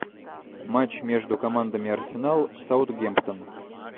матч между командами арсенал саутгемптон